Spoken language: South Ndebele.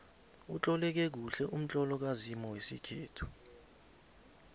utloleke kuhle umtlolo kazimu wesikhethu